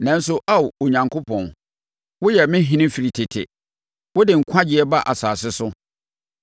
Nanso, Ao Onyankopɔn, woyɛ me ɔhene firi tete; wode nkwagyeɛ ba asase so.